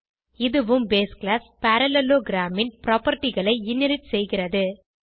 இதுவும் base class parallelogram ன் propertyகளை இன்ஹெரிட் செய்கிறது